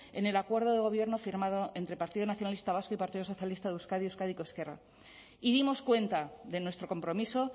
en el acuerdo de gobierno firmado entre partido nacionalista vasco y partido socialista de euskadi euskadiko ezkerra y dimos cuenta de nuestro compromiso